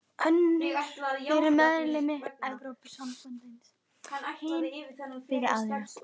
Önnur fyrir meðlimi Evrópusambandsins, hin fyrir aðra.